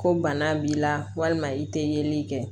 Ko bana b'i la walima i tɛ yeli kɛ